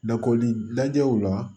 Lakɔlida lajɛw la